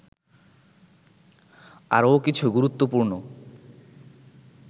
আরও কিছু গুরুত্বপূর্ণ